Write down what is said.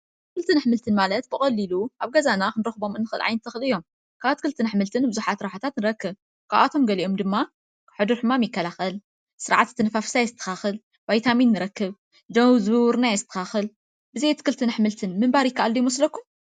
ኣትክልትን ኣሕምልትን ማለት ብቀሊሉ ኣብ ገዛና ክንረክብ እንክእል ዓይነታት ተክሊ እዮም፡፡ ካብ ኣትክልትን ኣሕምልትን ብዙሓት ረብሓታት ንረክብ፡፡ ካብኣቶም ገሊኦም ድማ ሕዱር ሕማም ይከላኸል፣ ስርዓተ ኣተነፋፍሳ የስተኻኽል፣ ቫይታሚን ንረክብ፣ ደም ዝውውርና የስተኻኽል፡፡ ብዘይ ኣትክልትን ኣሕምልትን ምንባር ይከኣል ዶ ይመስለኩም?